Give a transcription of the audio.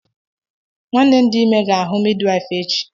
Nwanne m di ime ga ahu midwife echi.